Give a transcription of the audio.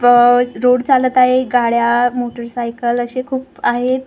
आह रोड चालत आहे गाड्या मोटरसायकल असे खूप आहेत .